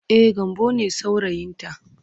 E, Gambo ne saurayinta.